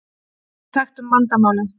Við þekktum vandamálið.